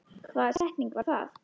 Hvaða setning var það?